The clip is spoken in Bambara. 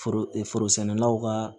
Foro e foro sɛnɛlaw ka